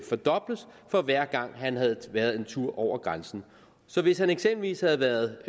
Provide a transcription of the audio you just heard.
fordobles for hver gang han havde været en tur over grænsen hvis han eksempelvis havde været